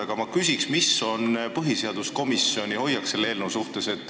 Aga ma küsin, milline on põhiseaduskomisjoni hoiak selle eelnõu suhtes.